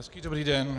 Hezký dobrý den.